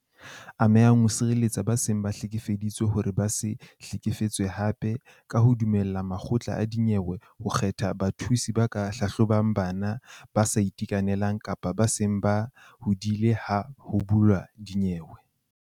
Ame hang o sireletsa ba seng ba hlekefeditswe hore ba se hlekefetsehe hape ka ho dumella makgotla a dinyewe ho kgetha bathusi ba ka hlahlobang bana, ba sa itekanelang kapa ba seng ba hodile ha ho buuwa dinyewe.